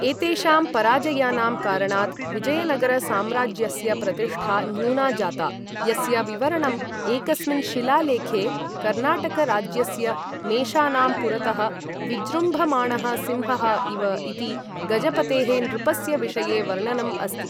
एतेषां पराजयानां कारणात् विजयनगर साम्राज्यस्य प्रतिष्ठा न्यूना जाता, यस्य विवरणं एकस्मिन् शिलालेखे, कर्नाटक राज्यस्य मेषानां पुरतः विजृम्भमाणः सिंहः इव इति गजपतेः नृपस्य विषये वर्णनम् अस्ति।